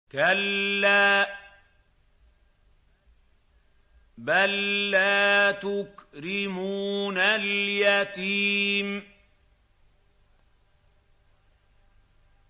كَلَّا ۖ بَل لَّا تُكْرِمُونَ الْيَتِيمَ